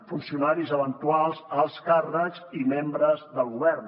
funcionaris eventuals alts càrrecs i membres del govern